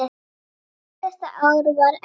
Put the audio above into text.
Síðasta ár var erfitt.